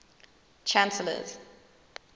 chancellors